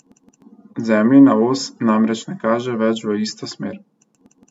Zemljina os namreč ne kaže več v isto smer.